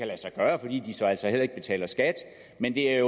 lade sig gøre fordi de så altså heller ikke betaler skat men det er